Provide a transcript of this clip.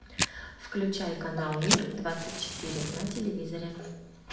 включай канал мир двадцать четыре на телевизоре